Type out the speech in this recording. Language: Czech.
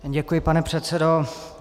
Děkuji, pane předsedo.